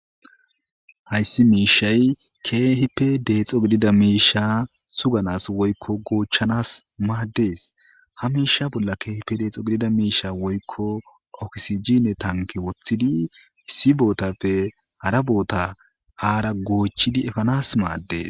Hayssi miishshay keehipe deexo didida miishsha; suganas woykko goochchanaas maaddes; ha miishsha bolla keehippe deexo gidida miishsha woykko oxygine thankke woththidi issi boothappe hara boothaa aarra goochchidi efanas maaddees.